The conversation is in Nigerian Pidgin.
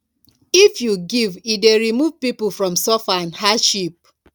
if we give e dey remove pipo from suffer and hardship